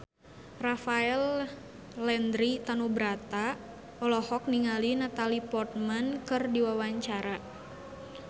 Rafael Landry Tanubrata olohok ningali Natalie Portman keur diwawancara